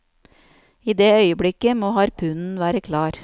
I det øyeblikket må harpunen være klar.